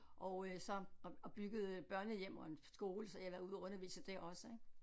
Og øh så og og byggede børnehjem og en skole så jeg har været ude at undervise der også ik